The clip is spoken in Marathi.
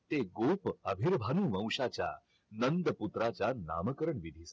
ते गोप अभिर्भाणु वौंशाच्या नंद पुत्राचा नामकरण विधी